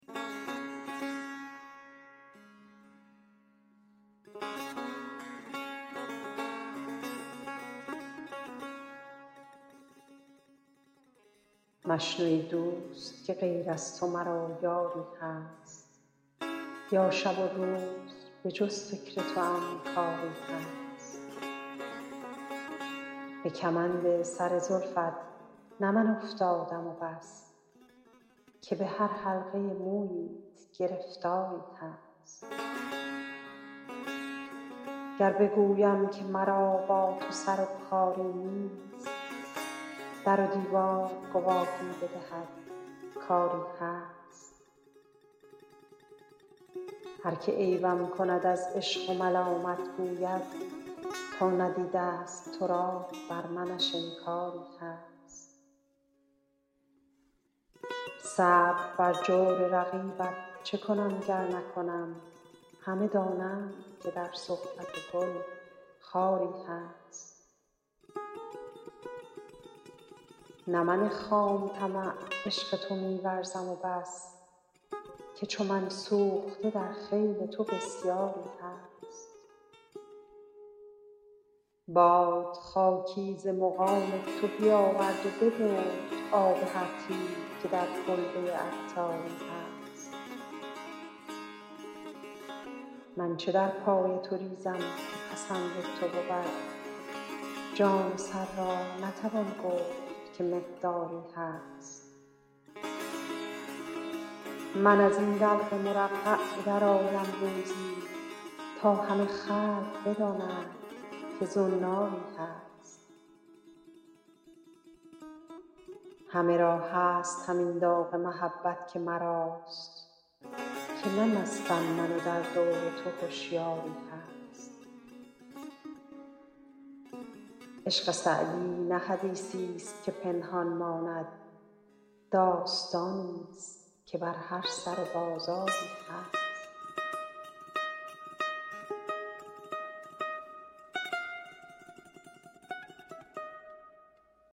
مشنو ای دوست که غیر از تو مرا یاری هست یا شب و روز به جز فکر توام کاری هست به کمند سر زلفت نه من افتادم و بس که به هر حلقه موییت گرفتاری هست گر بگویم که مرا با تو سر و کاری نیست در و دیوار گواهی بدهد کآری هست هر که عیبم کند از عشق و ملامت گوید تا ندیده است تو را بر منش انکاری هست صبر بر جور رقیبت چه کنم گر نکنم همه دانند که در صحبت گل خاری هست نه من خام طمع عشق تو می ورزم و بس که چو من سوخته در خیل تو بسیاری هست باد خاکی ز مقام تو بیاورد و ببرد آب هر طیب که در کلبه عطاری هست من چه در پای تو ریزم که پسند تو بود جان و سر را نتوان گفت که مقداری هست من از این دلق مرقع به درآیم روزی تا همه خلق بدانند که زناری هست همه را هست همین داغ محبت که مراست که نه مستم من و در دور تو هشیاری هست عشق سعدی نه حدیثی است که پنهان ماند داستانی است که بر هر سر بازاری هست